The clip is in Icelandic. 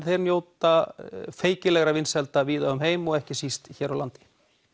þeir njóta vinsælda víða um heim ekki síst hér á landi